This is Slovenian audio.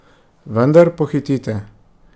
Vendar pohitite.